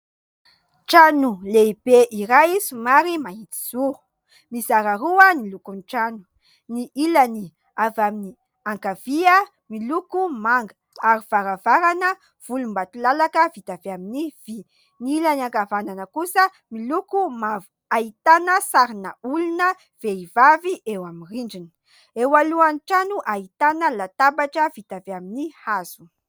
Trano lehibe iray somary mahitsizoro: mizara roa ny lokon'ny trano, ny ilany avy amin'ny ankavia miloko manga ary varavarana volombatolalaka vita avy amin'ny vy, ny ilany ankavanana kosa miloko mavo ahitana sarina olona vehivavy eo amin'ny rindrina, eo alohan'ny trano ahitana latabatra vita avy amin'ny hazo.